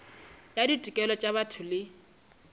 ya ditokelo tša botho le